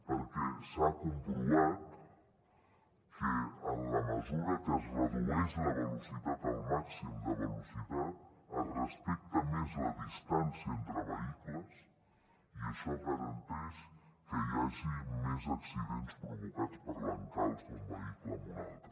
perquè s’ha comprovat que en la mesura que es redueix la velocitat el màxim de velocitat es respecta més la distància entre vehicles i això garanteix que hi hagi menys accidents provocats per l’encalç d’un vehicle amb un altre